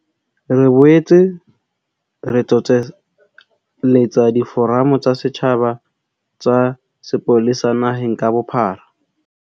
Re boetse re tsoseletsa diforamo tsa setjhaba tsa sepolesa naheng ka bophara.